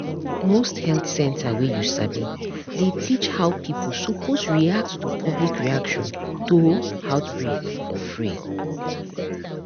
most health center wey you sabi dey teach how pipo suppose react to public reaction to outbreak for free